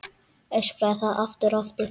Öskraði það aftur og aftur.